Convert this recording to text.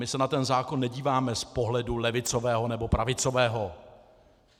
My se na ten zákon nedíváme z pohledu levicového, nebo pravicového.